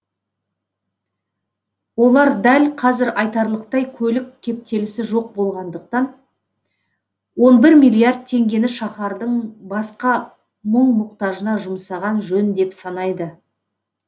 олар дәл қазір айтарлықтай көлік кептелісі жоқ болғандықтан он бір миллиард теңгені шаһардың басқа мұң мұқтажына жұмсаған жөн деп санайды